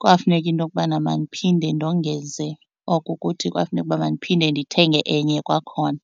Kwafuneka into okubana mandiphinde ndongeze, oko kuthi kwafuneka ukuba mandiphinde ndithenge enye kwakhona.